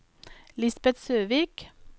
Lisbet Søvik